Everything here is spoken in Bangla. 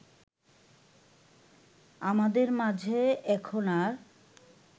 আমাদের মাঝে এখন আর